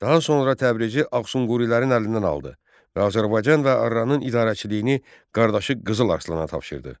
Daha sonra Təbrizi Ağsunqurilərin əlindən aldı və Azərbaycan və Arranın idarəçiliyini qardaşı Qızıl Arslana tapşırdı.